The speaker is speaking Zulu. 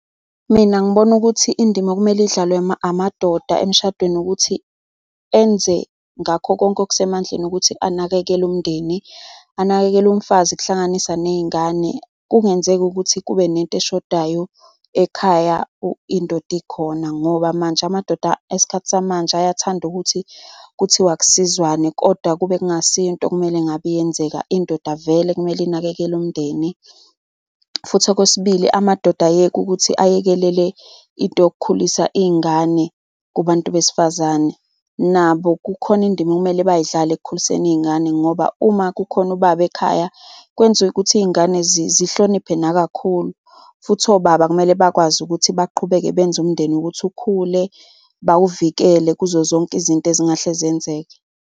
Mina ngibona ukuthi indima okumele idlalwe amadoda emshadweni ukuthi enze ngakho konke okusemandleni ukuthi anakekele umndeni, anakekele umfazi, kuhlanganisa ney'ngane. Kungenzeki ukuthi kube nento eshodayo ekhaya indoda ikhona ngoba manje amadoda esikhathi samanje ayathanda ukuthi kuthiwa akusizwane kodwa kube kungasiyo into okumele ngabe iyenzeka. Indoda vele kumele inakekele umndeni futhi okwesibili amadoda ayeke ukuthi ayekelele into yokukhulisa iy'ngane kubantu besifazane. Nabo kukhona indima okumele bayidlale ekukhuliseni iy'ngane ngoba uma kukhona ubaba ekhaya, kwenziwe ukuthi iy'ngane zihloniphe nakakhulu. Futhi obaba kumele bakwazi ukuthi baqhubeke benze umndeni ukuthi ukhule. Bawuvikele kuzo zonke izinto ezingahle zenzeke.